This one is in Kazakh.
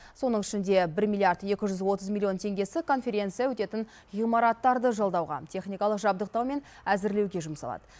соның ішінде бір миллиард екі жүз отыз миллионы теңгесі конференция өтетін ғимараттарды жалдауға техникалық жабдықтау мен әзірлеуге жұмсалады